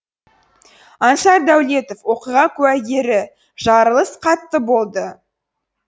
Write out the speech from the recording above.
аңсар дәулетов оқиға куәгері жарылыс қатты болды